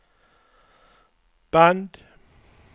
band